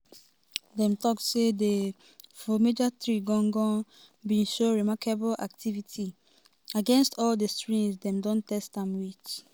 dem tok say di fromager tree gan-gan bin show "remarkable activity" against all di strains dem test am wit.